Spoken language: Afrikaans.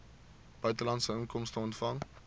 buitelandse inkomste ontvang